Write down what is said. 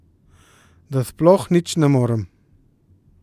Da sploh nič ne morem.